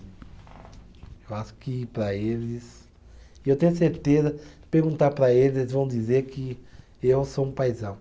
Eu acho que para eles. Eu tenho certeza, perguntar para eles, eles vão dizer que eu sou um paizão.